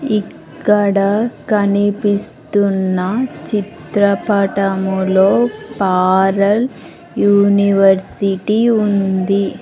ఇక్కడ కనిపిస్తున్న చిత్రపటములో పారల్ యూనివర్సిటీ ఉంది.